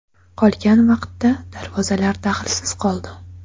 Qolgan vaqtda darvozalar daxlsiz qoldi.